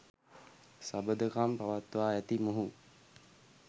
සබඳකම් පවත්වා ඇති මොහු